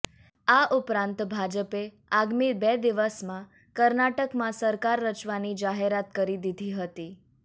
આ ઉપરાંત ભાજપે આગામી બે દિવસમાં કર્ણાટકમાં સરકાર રચવાની જાહેરાત કરી દીધી હતી